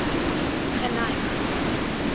geneig